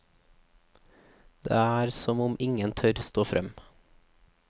Det er som om ingen tør stå frem.